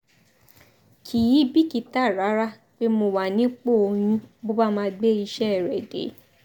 kì í bìkítà rárá pé mo wà nípò oyún bó bá máa gbé iṣẹ́ rẹ̀ dé